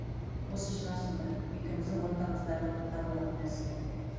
осы шығар сонда екеуміздің ортамыздағы бір табылатын нәрсе